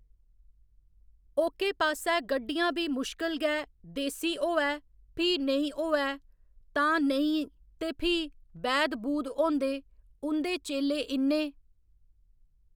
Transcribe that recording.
ओह्के पास्सै गड्डियां बी मुश्कल गै, देसी होवै, फ्ही नेईं होवै तां नेईं ते फ्ही बैध बूध होंदे, उं'दे चेल्ले इन्ने